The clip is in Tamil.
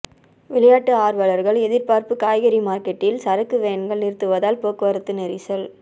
விளையாட்டு ஆர்வலர்கள் எதிர்பார்ப்பு காய்கறி மார்க்கெட்டில் சரக்கு வேன்கள் நிறுத்துவதால் போக்குவரத்து நெரிசல்